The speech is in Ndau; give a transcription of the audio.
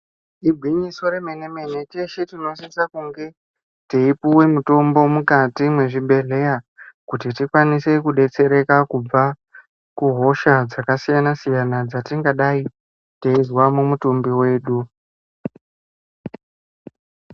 Igwinyiso remene-mene teshe tinosisa kunge teipuwe mitombo mukati mwezvibhehleya kuti tikwanise kudetsereka kubva kuhosha dzakasiyana-siyana dzatingadai teizwa mumutumbi wedu.